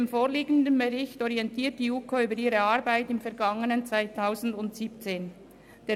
Im vorliegenden Bericht orientiert die JuKo über ihre Arbeit im vergangenen Jahr 2017.